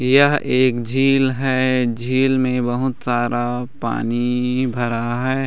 यह एक झील हैं झील में बहुत सारा पानी भरा है।